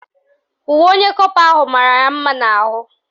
Uwe onye kọpa ahụ mara ya mma n'ahụ